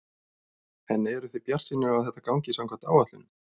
En eruð þið bjartsýnir á að þetta gangi samkvæmt áætlunum?